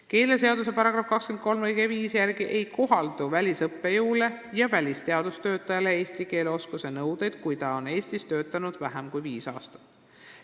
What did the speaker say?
Keeleseaduse § 23 lõike 5 järgi ei kohaldu välisõppejõule ja välisteadustöötajale eesti keele oskuse nõuded, kui ta on Eestis töötanud vähem kui viis aastat.